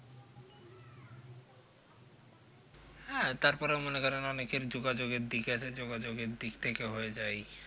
হ্যাঁ তারপরেও মনে করেন অনেকের যোগাযোগের দিক আছে যোগাযোগের দিক থেকে হয়ে যায়